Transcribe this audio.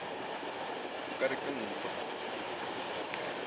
o ka re ke ntoo